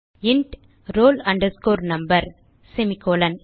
int roll underscore number semicolon